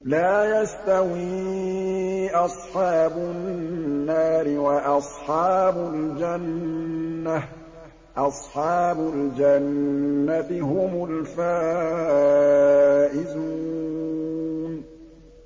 لَا يَسْتَوِي أَصْحَابُ النَّارِ وَأَصْحَابُ الْجَنَّةِ ۚ أَصْحَابُ الْجَنَّةِ هُمُ الْفَائِزُونَ